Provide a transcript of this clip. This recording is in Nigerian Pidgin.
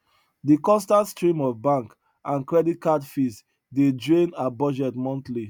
de constant stream of bank and credit card fees dey drain her budget monthly